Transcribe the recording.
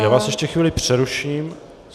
Já vás ještě chvíli přeruším.